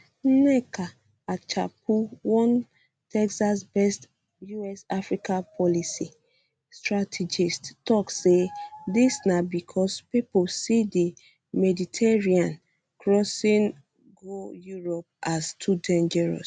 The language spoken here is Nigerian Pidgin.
nneka achapu one texasbased usafrica policy um strategist tok say dis na becos pipo see di mediterranean crossing go europe as too dangerous